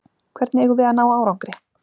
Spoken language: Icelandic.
Hvernig eigum við að ná árangri?